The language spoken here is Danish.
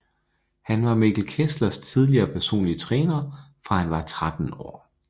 Han var Mikkel Kesslers tidligere personlige træner fra han var 13 år